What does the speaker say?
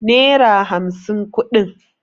naira hamsin kudin